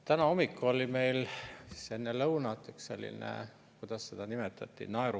Täna hommikul, enne lõunat oli meil selline – kuidas seda nimetati?